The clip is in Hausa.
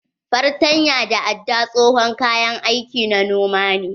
Fartanya da aɗɗa tsohon kayan aiki na noma ne.